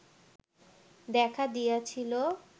দেখা দিয়াছিল